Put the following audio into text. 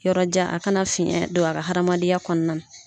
Yɔrɔ jan a kana fiyɛn don a ka hamadenya kɔnɔna na